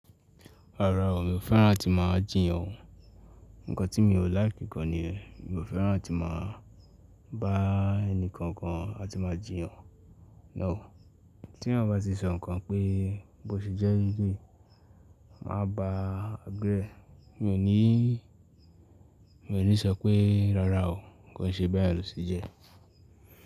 Rárá o, mi ò fẹ́ràn tí máa jiyàn o. Ǹkan tí mi ò láìkì kan ni yẹn, mi ò fẹ́ràn tí máa bá ẹnìkankan á ti máa jiyàn. Náù o, tí èyàn bá ti sọ̀ nkàn pé bó ti jẹ́ leléyí, máa ba bẹ́ẹ̀. Mi ò ní, mi ò ní sọ pé rárá o, kò ṣe bẹ́ẹ̀ lò ti jẹ́.